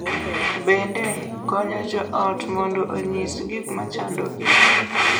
Bende, konyo jo ot mondo onyis gik ma chandogi